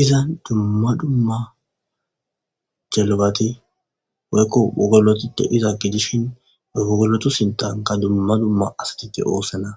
Iza dumma dumma jelabati woykko wogoloto de iza gidishin e wogolotu sintanka dumma dumma asatiti oossana